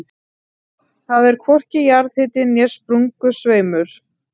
Þar er hvorki jarðhiti né sprungusveimur.